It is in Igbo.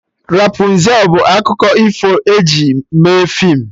Rapụnzel bụ akụkọ ifo eji mee feem